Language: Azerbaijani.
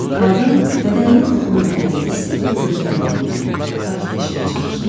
Qadın bədəninə toxunan bədəni hiss edib gözlərini yumdu, sakitləşməyə çalışdı.